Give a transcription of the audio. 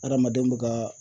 Adamadenw bɛ ka